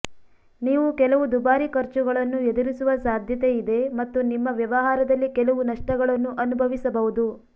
ನೀವು ಕೆಲವು ದುಬಾರಿ ಖರ್ಚುಗಳನ್ನು ಎದುರಿಸುವ ಸಾಧ್ಯತೆಯಿದೆ ಮತ್ತು ನಿಮ್ಮ ವ್ಯವಹಾರದಲ್ಲಿ ಕೆಲವು ನಷ್ಟಗಳನ್ನು ಅನುಭವಿಸಬಹುದು